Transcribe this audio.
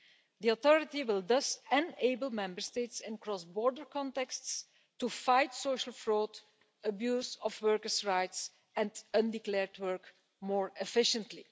The Authority will thus enable Member States in cross-border contexts to fight social fraud, abuse of workers' rights and undeclared work more efficiently.